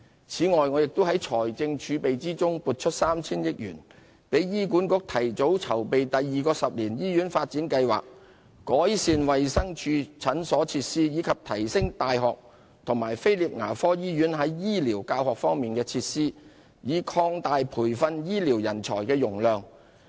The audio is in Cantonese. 此外，我亦在財政儲備中撥出 3,000 億元，給予醫管局提早籌備第二個十年醫院發展計劃，改善衞生署診所設施，以及提升大學和菲臘牙科醫院在醫療教學方面的設施，以擴大培訓醫療人才的容量。